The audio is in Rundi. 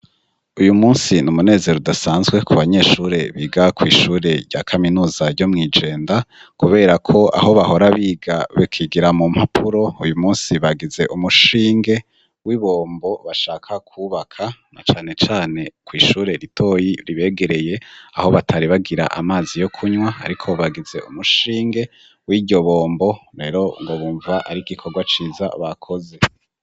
Uyu musi n'umunezero udasanzwe ku banyeshure biga kw'ishure rya kaminuza ryo Mwijenda kuberako aho bahora biga bakigira mu mpapuro uyu munsi bagize umushinge w'ibombo bashaka kwubaka na cane cane kw'ishure ritoyi ribegereye aho batari bagira amazi yo kunywa ariko bagize umushinge w'iryo bombo rero ngo bumva ari igikorwa ciza bakoze.